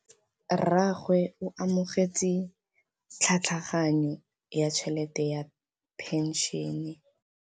Rragwe o amogetse tlhatlhaganyô ya tšhelête ya phenšene.